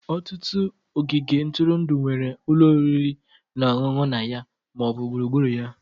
Ọtụtụ ogige ntụrụndụ nwere ụlọ oriri na ọṅụṅụ na ya ma ọ bụ gburugburu ya.